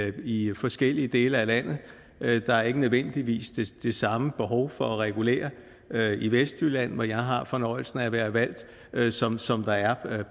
i forskellige dele af landet der er ikke nødvendigvis det samme behov for at regulere i vestjylland hvor jeg har fornøjelsen af at være valgt som som der er